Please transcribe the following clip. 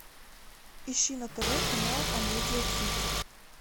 ищи на тв канал амедиа хит